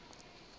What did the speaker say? nka be ke se ka